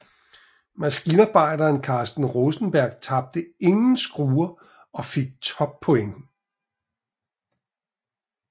Maskinarbejderen Carsten Rosenberg tabte ingen skruer og fik toppoint